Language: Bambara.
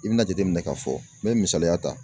I bina jateminɛ k'a fɔ n bɛ misaliya ta.